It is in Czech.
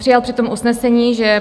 Přijal při tom usnesení, že